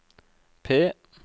P